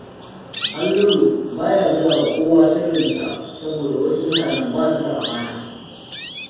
Halliru ba ya gaya wa kowa sirrinsa, Saboda wasu mutanen ba su da amana